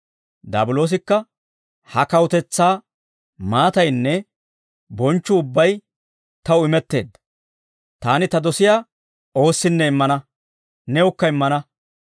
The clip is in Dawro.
Daabiloosikka, «Ha kawutetsaa maataynne bonchchuu ubbay taw imetteedda. Taani ta dosiyaa oossinne immana; newukka immana.